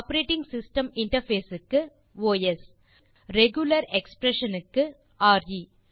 operating system interface க்கு OS regular expressions க்கு ரே